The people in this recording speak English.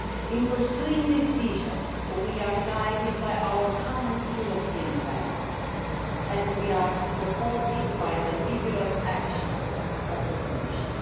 In pursuing this vision, we are guided by our common European values and we are supported by the vigorous actions of the Commission.